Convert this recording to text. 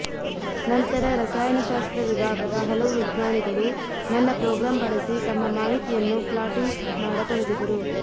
ನಂತರ ರಸಾಯನಶಾಸ್ತ್ರ ವಿಭಾಗದ ಹಲವು ವಿಜ್ಞಾನಿಗಳು ನನ್ನ ಪ್ರೋಗ್ರಾಂ ಬಳಸಿ ತಮ್ಮ ಮಾಹಿತಿಯನ್ನು ಪ್ಲಾಟಿಂಗ್ ಮಾಡತೊಡಗಿದರು